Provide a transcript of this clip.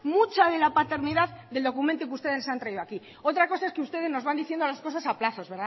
mucha de la paternidad del documento que ustedes nos han traído aquí otra cosa es que ustedes nos van diciendo las cosas a plazo